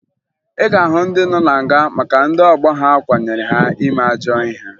Ị ga-ahụ ndị nọ na nga maka na ndị ọgbọ ha kwanyere ha ime ajọ ihe